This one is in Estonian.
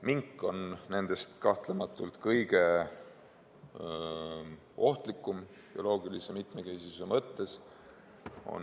Mink on nendest kahtlematult kõige ohtlikum, sest kannatab bioloogiline mitmekesisus.